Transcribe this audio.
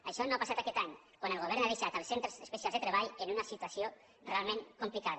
això no ha passat aquest any quan el go·vern ha deixat els centres especials de treball en una situació realment complicada